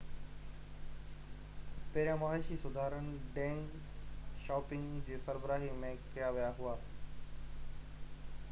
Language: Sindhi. پهريان معاشي سُڌارا ڊينگ شائوپنگ جي سربراهي ۾ ڪيا ويا هئا